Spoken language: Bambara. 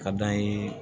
Ka d'an ye